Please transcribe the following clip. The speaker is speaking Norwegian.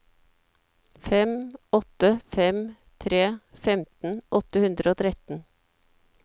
fem åtte fem tre femten åtte hundre og tretten